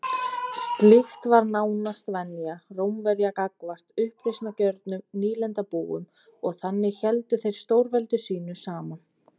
Slíkt var nánast venja Rómverja gagnvart uppreisnargjörnum nýlendubúum og þannig héldu þeir stórveldi sínu saman.